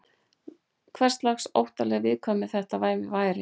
Hverslags óttaleg viðkvæmni þetta væri?